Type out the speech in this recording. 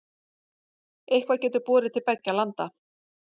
Eitthvað getur borið til beggja landa